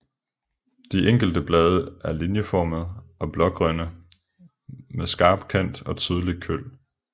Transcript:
De enkelte blade er linjeformede og blågrønne med skarp kant og tydelig køl